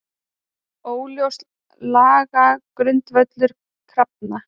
Óljós lagagrundvöllur krafna